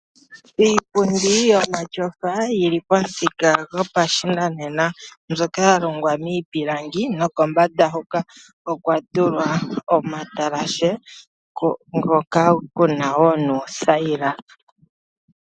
Iipundi yomatyofa yili pamuthika gopashinanena mbyoka ya longwa miipilangi nokombanda hoka okwa tulwa omatalashe ngoka kuna wo nuuthaila.